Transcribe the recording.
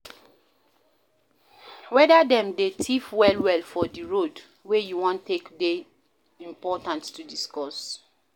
weda dem dey thief well well for di road wey you wan take dey important to discuss